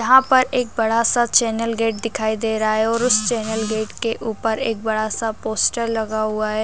यहाँ पर एक बड़ा सा चैनल गेट दिखाई दे रहा है और उस चैनल गेट के ऊपर एक बड़ा सा पोस्टर लगा हुआ है।